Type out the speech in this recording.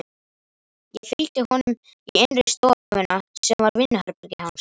Ég fylgdi honum í innri stofuna sem var vinnuherbergi hans.